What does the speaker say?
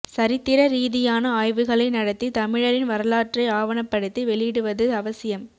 சரித்திர ரீதியான ஆய்வுகளை நடத்தி தமிழரின் வரலாற்றை ஆவணப்படுத்தி வெளியிடுவது அவசியம்